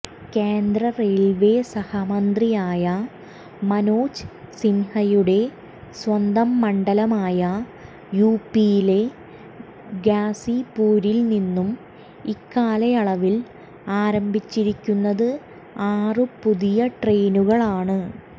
കേന്ദ്രറെയിൽവേ സഹമന്ത്രിയായ മനോജ് സിൻഹയുടെ സ്വന്തം മണ്ഡലമായ യുപിയിലെ ഗാസിപ്പൂരിൽ നിന്നു ഇക്കാലയളിൽ ആരംഭിച്ചിരിക്കുന്നതു ആറു പുതിയ ട്രെയിനുകളാണ്